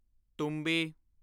ਤੁੰਬੀ